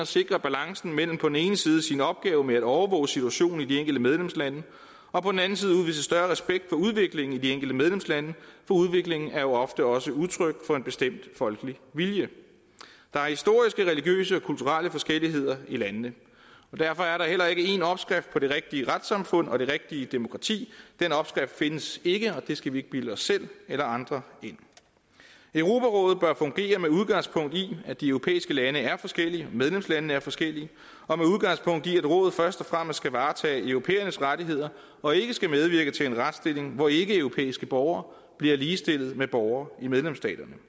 sikre balancen mellem på den ene side sin opgave med at overvåge situationen i de enkelte medlemslande og på den anden side udvise større respekt for udviklingen i de enkelte medlemslande for udviklingen er jo ofte også udtryk for en bestemt folkelig vilje der er historiske religiøse og kulturelle forskelligheder i landene og derfor er der heller ikke én opskrift på det rigtige retssamfund og det rigtige demokrati den opskrift findes ikke og det skal vi ikke bilde os selv eller andre ind europarådet bør fungere med udgangspunkt i at de europæiske lande er forskellige medlemslandene er forskellige og med udgangspunkt i at rådet først og fremmest skal varetage europæernes rettigheder og ikke skal medvirke til en retsstilling hvor ikkeeuropæiske borgere bliver ligestillet med borgere i medlemsstaterne